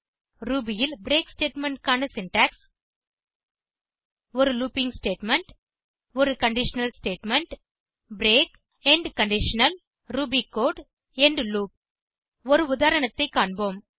Ruby ல் break statement க்கான syntax ஒரு லூப்பிங் ஸ்டேட்மெண்ட் ஒரு conditional statement break end conditional Ruby code end loop ஒரு உதாரணத்தை காண்போம்